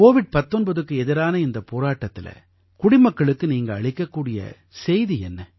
Covid 19க்கு எதிரான இந்தப் போராட்டத்தில குடிமக்களுக்கு நீங்க அளிக்கக் கூடிய செய்தி என்ன